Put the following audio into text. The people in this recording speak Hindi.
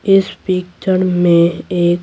इस पिक्चण में एक--